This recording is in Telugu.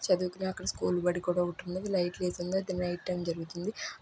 చుదువుకునే అక్కడ స్కూల్ బడి కూడా ఒకటి ఉన్నది లైట్స్ ఏసి ఉన్నాయి అది నైట్ టైం జరుగుతుంది.